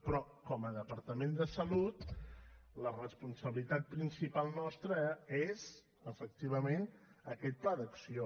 però com a departament de salut la responsabilitat principal nostra és efectivament aquest pla d’acció